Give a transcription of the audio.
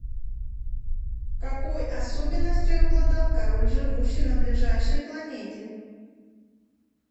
какой особенностью обладал король живущий на ближайшей планете